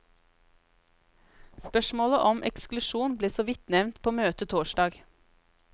Spørsmålet om eksklusjon ble såvidt nevnt på møtet torsdag.